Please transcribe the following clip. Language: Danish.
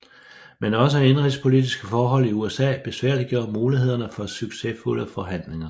Men også indenrigspolitiske forhold i USA besværliggjorde mulighederne for succesfulde forhandlinger